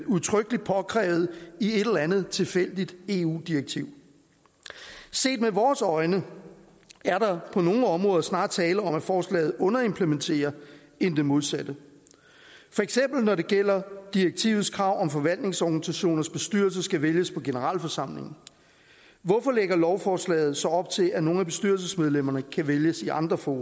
udtrykkeligt påkrævet i et eller andet tilfældigt eu direktiv set med vores øjne er der på nogle områder snarere tale om at forslaget underimplementerer end det modsatte for eksempel når det gælder direktivets krav om at forvaltningsorganisationers bestyrelse skal vælges på generalforsamlingen hvorfor lægger lovforslaget så op til at nogle af bestyrelsesmedlemmerne kan vælges i andre fora